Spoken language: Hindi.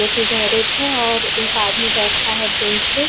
जो कि गैरेज है और एक आदमी बैठा है बेंच पे --